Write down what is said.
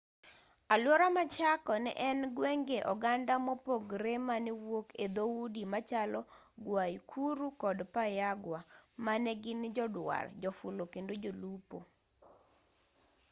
aluora ma chaco ne en gwenge oganda mopogre manewuok e dhoudi machalo guaycuru kod payagua manegin joduar jofulo kendo jolupo